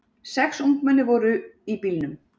Sex ungmenni voru í bílnum.